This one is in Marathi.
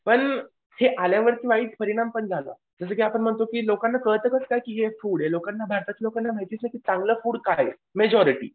पण हे आल्यावरती वाईट परिणाम पण झालं. जसं की आपण म्हणतो की लोकांना कळतं कसं काय की हे फूड आहे लोकांना भारतातल्या लोकांना माहितीच आहे की चांगलं फूड काय आहे मेजॉरिटी.